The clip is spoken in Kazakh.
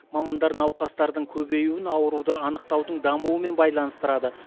мамандар науқастардың көбеюін ауруды анықтаудың дамуымен байланыстырады